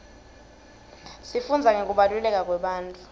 sifundza ngekubaluleka kwebantfu